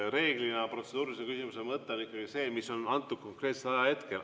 Reeglina protseduurilise küsimuse mõte on ikkagi, mis on antud konkreetsel ajahetkel.